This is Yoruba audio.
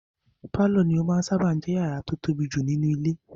Pálọ̀ ní ó máa n sáábà jẹ́ yàrá tó tóbi jù nínú ilé